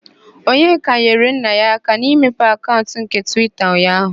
Onyeka nyere nna ya aka n'ịmepe akaụnt nke Twita ụnyaaahụ.